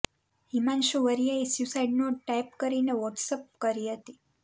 હિમાંશુ વરિયાએ suicide note type કરીને WhatsApp કરી હતી